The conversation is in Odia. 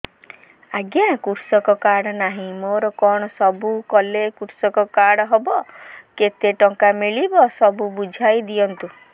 ଆଜ୍ଞା କୃଷକ କାର୍ଡ ନାହିଁ ମୋର କଣ ସବୁ କଲେ କୃଷକ କାର୍ଡ ହବ କେତେ ଟଙ୍କା ମିଳିବ ସବୁ ବୁଝାଇଦିଅନ୍ତୁ